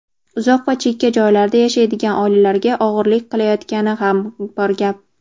uzoq va chekka joylarda yashaydigan oilalarga og‘irlik qilayotgani ham bor gap.